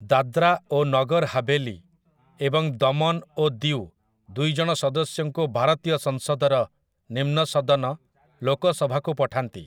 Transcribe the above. ଦାଦ୍ରା ଓ ନଗର ହାଭେଲି ଏବଂ ଦମନ ଓ ଦିଉ ଦୁଇ ଜଣ ସଦସ୍ୟଙ୍କୁ ଭାରତୀୟ ସଂସଦର ନିମ୍ନ ସଦନ, ଲୋକସଭାକୁ, ପଠାନ୍ତି ।